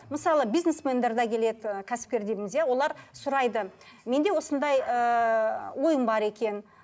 мысалы бизнесмендер де келеді ы кәсіпкер дейміз иә олар сұрайды менде осындай ыыы ойым бар екен